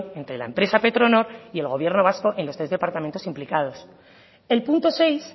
entre la empresa petronor y el gobierno vasco en los tres departamentos implicados el punto seis